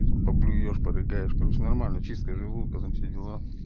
и там поблюешь порыгаешь короче нормально чистка желудка там все дела